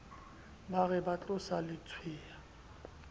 ba re ba tlosa letshweya